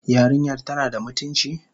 Yarinyar tana da mutunci?